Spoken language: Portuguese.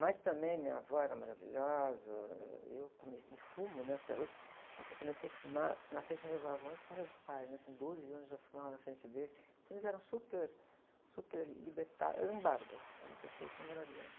Mas também minha avó era maravilhosa, ãh, eu comecei, fumo, né? Até hoje. Eu comecei a fumar na frente dos meus avós, com meus pais, né? Com doze anos eu fumava na frente deles, então eles eram super, super libertários, eram bárbaros, eram pessoas, assim, maravilhosas.